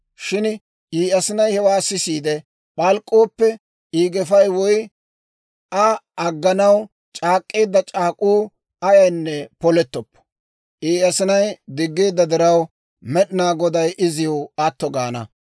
Shin I asinay hewaa sisiide p'alk'k'ooppe, I gefay woy Aa agganaw c'aak'k'eedda c'aak'uu ayaynne polettoppo. I asinay diggeedda diraw, Med'inaa Goday iziw atto gaana.